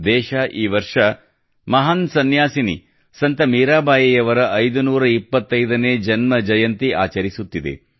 ದೇಶ ಈ ವರ್ಷ ಮಹಾನ್ ಸನ್ಯಾಸಿನಿ ಸಂತ ಮೀರಾಬಾಯಿಯವರ 525ನೇ ಜನ್ಮ ಜಯಂತಿ ಆಚರಿಸುತ್ತಿದೆ